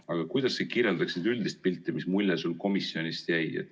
Aga kuidas sa kirjeldaksid üldist pilti, mis mulje sul komisjonist jäi?